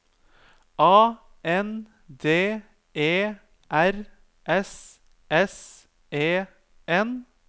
A N D E R S S E N